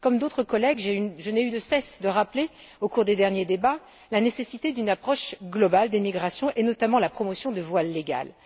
Comme d'autres collègues, je n'ai eu de cesse de rappeler, au cours des derniers débats, la nécessité d'une approche globale des migrations et notamment la promotion de voies légales.